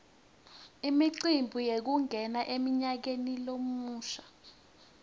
imicimbi yekungena emnyakeni lomusha